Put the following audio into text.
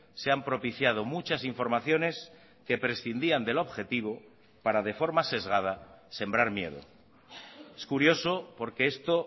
se han propiciado muchas informaciones que prescindían de lo objetivo para de forma sesgada sembrar miedo es curioso porque esto